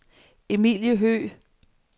Emilie Høgh